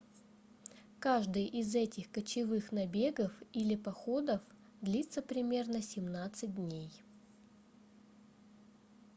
каждый из этих кочевых набегов или походов длится примерно 17 дней